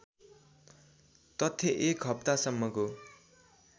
तथ्य एक हप्तासम्मको